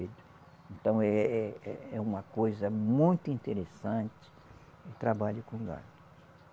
Então, é é é uma coisa muito interessante o trabalho com o gado.